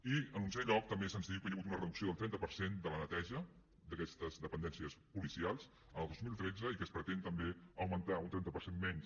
i en onzè lloc també se’ns diu que hi ha hagut una reducció del trenta per cent de la neteja d’aquestes dependències policials el dos mil tretze i que es pretén també augmentar un trenta per cent menys